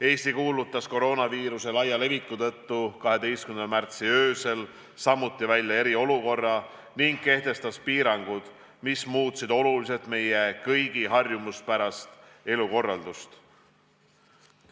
Eesti kuulutas koroonaviiruse laia leviku tõttu 12. märtsi öösel samuti välja eriolukorra ning kehtestas piirangud, mis muutsid oluliselt meie kõigi harjumuspärast elukorraldust.